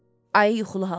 Ayı yuxulu halda.